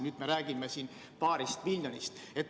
Nüüd me räägime paarist miljonist.